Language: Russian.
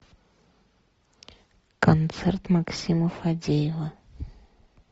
концерт максима фадеева